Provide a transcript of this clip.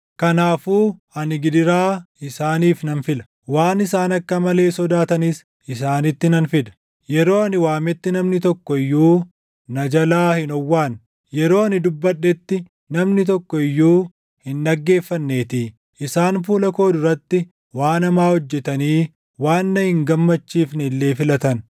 Kanaafuu ani gidiraa isaaniif nan fila; waan isaan akka malee sodaatanis isaanitti nan fida. Yeroo ani waametti namni tokko iyyuu na jalaa hin owwaanne; yeroo ani dubbadhetti namni tokko iyyuu // hin dhaggeeffanneetii. Isaan fuula koo duratti waan hamaa hojjetanii waan na hin gammachiifne illee filatan.”